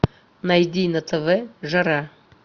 найди на тв жара